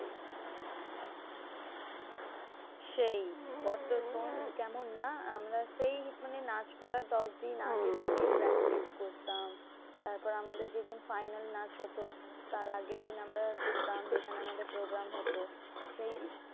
সেই কত শোন্ কেমন না? আমরা সেই মানে নাচ করার দশদিন আগে থেকে practice করতাম। তারপর আমাদের যেদিন final নাচ হতো, তার আগের দিন আমরা যেতাম যেখানে আমাদের program হতো। সেই